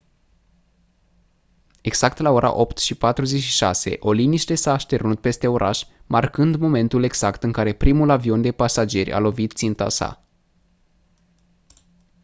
exact la ora 08:46 o liniște s-a așternut peste oraș marcând momentul exact în care primul avion de pasageri a lovit ținta sa